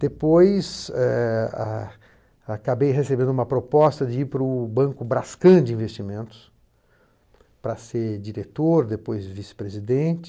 Depois, eh ah acabei recebendo uma proposta de ir para o Banco Brascan de Investimentos para ser diretor, depois vice-presidente.